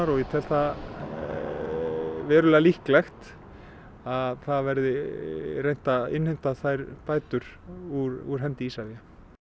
og ég tel það verulega líklegt að það verði reynt að innheimta þær bætur úr hendi Isavia